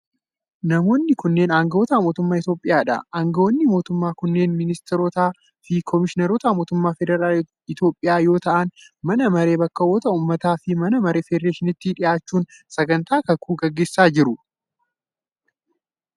Namoonni kunneen aangawoota mootummaa Itoophiyaa dha. Aangawoonni mootummaa kunneen ministeerotaa fi koomishinaroota mootummaa federaalaa Itoophiyaa yoo ta'an, mana maree bakka bu'oota ummataa fi mana maree federeeshiniitti dhiyaachuun sagantaa kakuu gaggeessaa jiru.